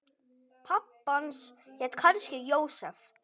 Pabbi hans hét kannski Jósef.